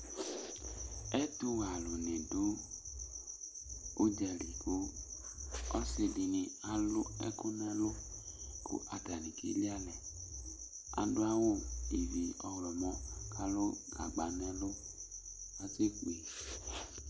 Ɛtuwɛ aluŋi ɖu udzali Ɔsiɖìní alu ɛku ŋu ɛlu kʋ ataŋi ke li alɛ Aɖu awu ɔlɔmɔ kʋ alu gagba ŋu ɛlu asɛkpe